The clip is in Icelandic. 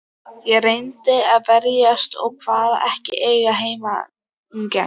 Ég reyndi að verjast og kvaðst ekki eiga heimangengt.